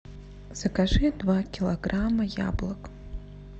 закажи два килограмма яблок